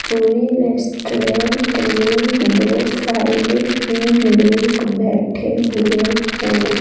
पूरी रेस्टोरेंट में दो साइड ही लोग बैठे हुए है।